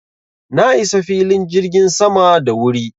Na isa filin jirgin sama da wuri.